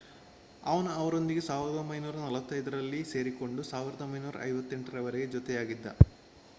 ಅವನು ಅವರೊಂದಿಗೆ 1945ರಲ್ಲಿ ಸೇರಿಕೊಂಡು 1958ರವರೆಗೆ ಜೊತೆಯಾಗಿದ್ದ